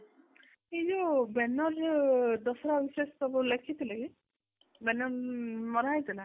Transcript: ସେ ଯୋଉ banner ମାନେ ମର ହେଇଥିଲା